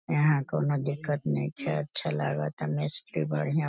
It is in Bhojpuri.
यहाँ कउनो दिक्कत नइखे अच्छा लागता मिस्त्री बढ़िया --